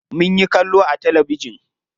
Munyi kallo a talabijin.